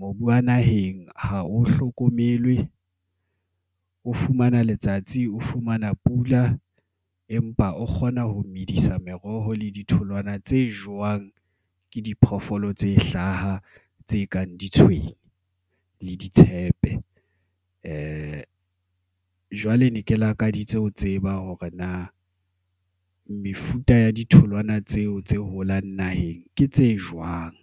mobu wa naheng ha o hlokomelwe, o fumana letsatsi, o fumana pula, empa o kgona ho medisa meroho le ditholwana tse jewang ke diphoofolo tse hlaha, tse kang ditshwene le ditshepe. Jwale ne ke lakaditse ho tseba hore na mefuta ya ditholwana tseo tse holang naheng ke tse jwang.